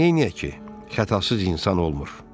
Amma neyləyək ki, xətasız insan olmur.